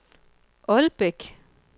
Ålbæk